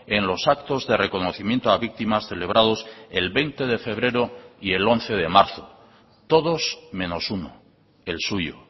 en los actos de reconocimiento a víctimas celebrados el veinte de febrero y el once de marzo todos menos uno el suyo